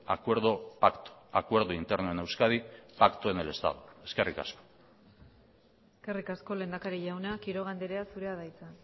acuerdo pacto acuerdo interno en euskadi pacto en el estado eskerrik asko eskerrik asko lehendakari jauna quiroga andrea zurea da hitza